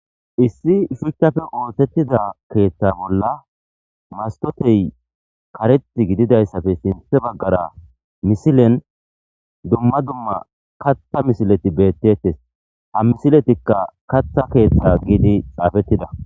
issi shuchchafe oothettida keeththa bolla mastotey karet gididayssafe sinthe baggara misilen dumma dumma katha misileti beettettes ha misiletikka katha keeththa giidi xaafettida